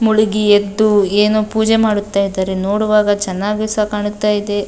ಮುಳುಗಿ ಎದ್ದು ಏನೋ ಪೂಜೆ ಮಾಡುತ್ತ ಇದ್ದಾರೆ ನೋಡುವಾಗ ಚೆನ್ನಾಗಿ ಸ ಕಾಣುತ್ತ ಇದೆ.